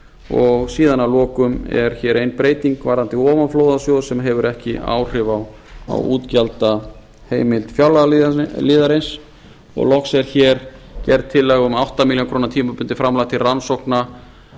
og síðan að lokum er hér ein breyting varðandi ofanflóðasjóð sem hefur ekki áhrif á útgjaldaheimild fjárlagaliðarins og loks er hér gerð tillaga um átta milljónir króna tímabundið framlag til rannsókna